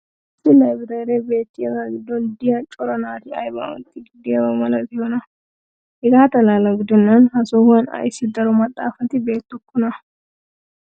issi laabireeree beettiyaaga giddon diya cora naati aybaa ootiidi diyaaba malattiyoonaa? hegaa xalaala gidennan ha sohuwan ayssi daro maxaafatti beetokkonaa?